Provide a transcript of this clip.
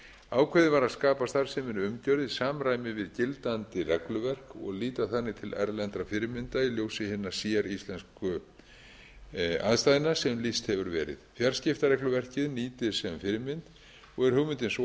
ákveðið var að skapa starfseminni umgjörð í samræmi við gildandi regluverk og líta þannig til erlendra fyrirmynda í ljósi hinna séríslensku aðstæðna sem lýst hefur verið fjarskiptaregluverkið nýtist sem fyrirmynd og er hugmyndin sú að